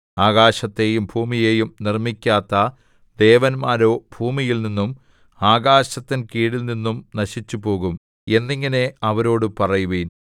ആകാശത്തെയും ഭൂമിയെയും നിർമ്മിക്കാത്ത ദേവന്മാരോ ഭൂമിയിൽനിന്നും ആകാശത്തിൻ കീഴിൽനിന്നും നശിച്ചുപോകും എന്നിങ്ങനെ അവരോടു പറയുവിൻ